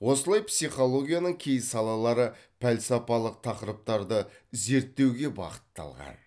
осылай психологияның кей салалары пәлсапалық тақырыптарды зерттеуге бағытталған